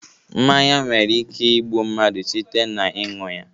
Mmanya nwere ike igbu mmadụ site n'iṅu ya